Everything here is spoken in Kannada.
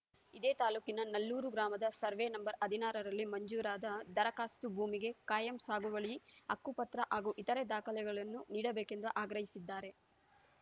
ಇದೇ ತಾಲೂಕಿನ ನಲ್ಲೂರು ಗ್ರಾಮದ ಸರ್ವೆ ನಂಬರ್‌ ಹದಿನಾರರಲ್ಲಿ ಮಂಜೂರಾದ ದರಕಾಸ್ತು ಭೂಮಿಗೆ ಖಾಯಂ ಸಾಗುವಳಿ ಹಕ್ಕುಪತ್ರ ಹಾಗೂ ಇತರೆ ದಾಖಲೆಗಳನ್ನು ನೀಡಬೇಕೆಂದು ಆಗ್ರಹಿಸಿದ್ದಾರೆ